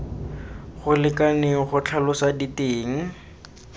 go lekaneng go tlhalosa diteng